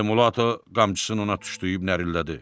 Elmulato qamçısını ona tuşlayıb nərillədi.